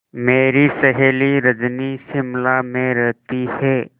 मेरी सहेली रजनी शिमला में रहती है